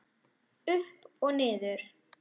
Upp og niður